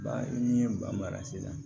Ba i ni ba mara la